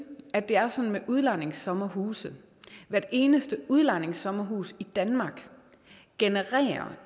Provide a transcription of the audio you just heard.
at det er sådan med udlejningssommerhuse at hvert eneste udlejningssommerhus i danmark